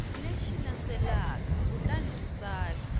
lexi landzelaka kutani u tsala